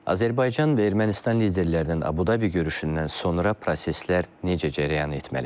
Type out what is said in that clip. Azərbaycan və Ermənistan liderlərinin Abu Dhabi görüşündən sonra proseslər necə cərəyan etməlidir?